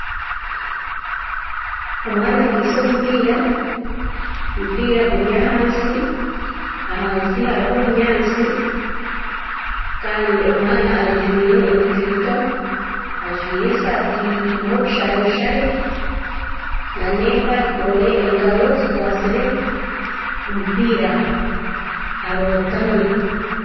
omwana akwitse omupiira, omupiira guri ahansi, ahansi hariho obunyatsi kandi omwana ajwire enkaito, ajwire eshati erimu obushareshare nana empare, engaaro zikwatsire omupiira arootami